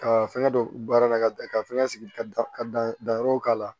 Ka fɛngɛ don baara la ka da ka fɛngɛ sigi ka da ka dan yɔrɔw k'a la